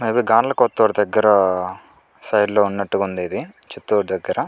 highway గానల కొత్తూరు దగ్గర side లో ఉన్నట్టుగా ఉంది.ఇది చిత్తూరు దగ్గర--